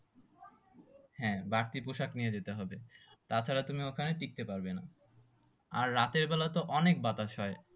হ্যাঁ বাড়তি পোশাক নিয়ে যেতে হবে তা ছাড়া তুমি ওই খানে টিকতে পারবেনা আর রাতের বেলা তো অনেক বাতাস হয়